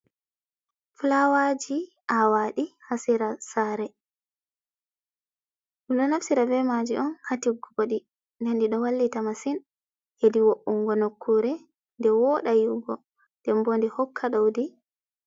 Fulawaji awaɗi ha sera sare. ɗumɗo naftira be maji on hatiggugo bodi den ɗiɗo wallita masin hedi wo’ungo nokkure nde woɗa yi’ugo dembo nde hokka doudi.